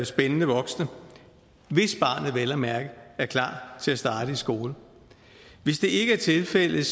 spændende voksne hvis barnet vel at mærke er klar til at starte i skole hvis det ikke er tilfældet